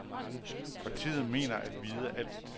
Partiet mener at vide alt.